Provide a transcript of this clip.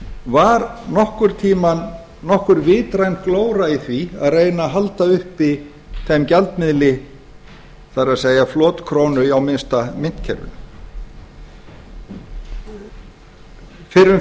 var nokkurn tíma nokkur vitræn glóra í því að reyna að halda uppi þeim gjaldmiðli það er flotkrónu á minnsta myntkerfinu fyrrum